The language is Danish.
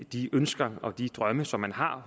de ønsker og de drømme som man har